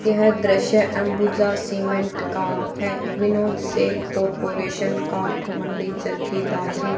यह दृश्य अंबुजा सीमेंट का है विनोद सेल कॉरपोरेशन काठ मंडी चरखी दादरी--